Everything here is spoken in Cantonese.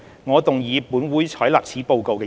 我動議"本會採納此報告"的議案。